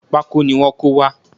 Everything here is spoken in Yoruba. Pákó ni wọ́n kó wá